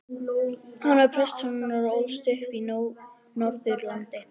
Hann var prestssonur og ólst upp á Norðurlandi.